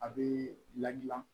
A bɛ ladilan